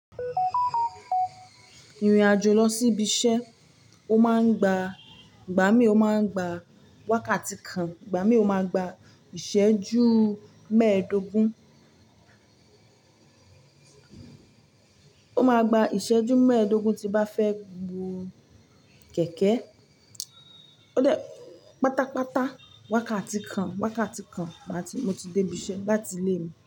Ìrìn àjò lọ sí ibi iṣẹ́, ó máa ń gba, ìgbà mí ó máa ń gba wákàtí kan, ìgbà mí ò máa gba ìṣẹ́jú mẹ́ẹ̀dógún. Ó máa gba ìṣẹ́jú mẹ́ẹ̀dógún, tí bá fẹ́ bu kẹ̀kẹ́. Ó dẹ́ pátápátá wákàtí kan, wákàtí kan má ti, mo ti dé ibi iṣẹ́ lati ilé mi.